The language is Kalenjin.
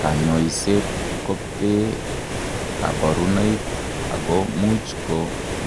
Kanyoiset ko bee kabarunoik ako much ko